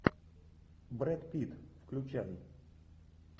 брэд питт включай